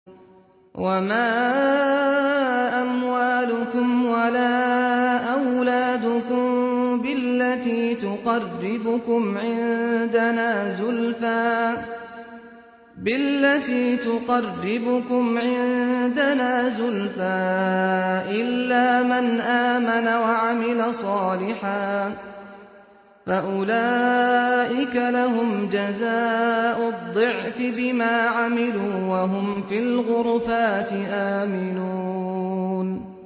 وَمَا أَمْوَالُكُمْ وَلَا أَوْلَادُكُم بِالَّتِي تُقَرِّبُكُمْ عِندَنَا زُلْفَىٰ إِلَّا مَنْ آمَنَ وَعَمِلَ صَالِحًا فَأُولَٰئِكَ لَهُمْ جَزَاءُ الضِّعْفِ بِمَا عَمِلُوا وَهُمْ فِي الْغُرُفَاتِ آمِنُونَ